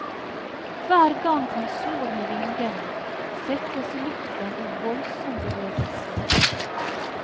Hver gang han slår med vingene, settes luften i voldsom bevegelse.